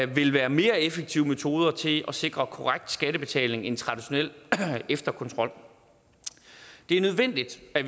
vil være mere effektive metoder til at sikre korrekt skattebetaling end traditionel efterkontrol det er nødvendigt at